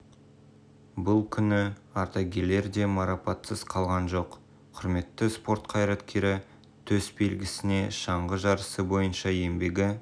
бұл күні ардагерлер де марапатсыз қалған жоқ құрметті спорт қайраткері төс белгісіне шаңғы жарысы бойынша еңбегі